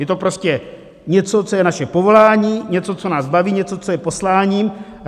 Je to prostě něco, co je naše povolání, něco, co nás baví, něco, co je poslání.